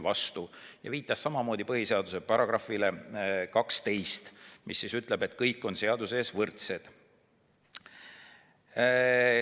Ta viitas samamoodi põhiseaduse §-le 12, mis ütleb, et kõik on seaduse ees võrdsed.